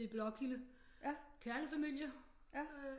I Blåkilde kernefamilie øh